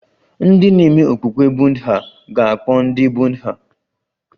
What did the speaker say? Ndị na-eme okpukpe Buddha ga-akpọ ndị Buddha